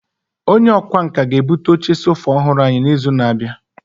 Onye ọkwá nkà ga-ebute oche sofa ọhụrụ anyị n'izu na-abịa.